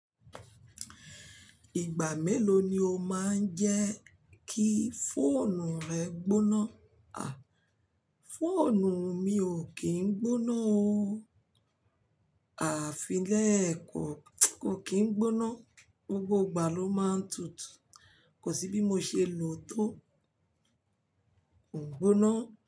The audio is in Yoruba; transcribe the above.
Ìgbà mélòó ni o máa ń jẹ́ kí fóònù rẹ gbóná? A! Fóònù mi ò kí ń gbóná o. Àfi lẹ́ ẹ kò, kò kí ń gbóná. Gbogbo ìgbà ló máa ń tutù. Kò sí bí mo ṣe lò ó tó. Kò ń gbóná.